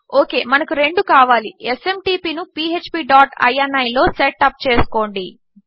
okay మనకు రెండు కావాలి ఎస్ఎంటీపీ ను పీఎచ్పీ డాట్ ఇని లో సెట్ అప్ చేసుకోండి